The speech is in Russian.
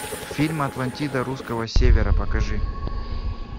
фильм атлантида русского севера покажи